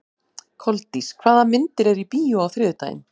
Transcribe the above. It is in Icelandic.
Koldís, hvaða myndir eru í bíó á þriðjudaginn?